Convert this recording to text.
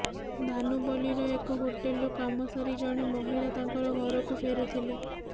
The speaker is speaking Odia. ଧାନୁପଲ୍ଲୀର ଏକ ହୋଟେଲରୁ କାମ ସାରି ଜଣେ ମହିଳା ତାଙ୍କର ଘରକୁ ଫେରୁଥିଲେ